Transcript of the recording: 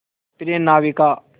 प्रिय नाविक